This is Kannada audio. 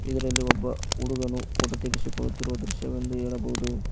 ಇದರಲ್ಲಿ ಒಬ್ಬ ಹುಡುಗನು ಫೋಟೋ ತೆಗೆಸಿಕೊಳ್ಳುತ್ತಿರುವ ದೃಶ್ಯವೆಂದು ಹೇಳಬಹುದು.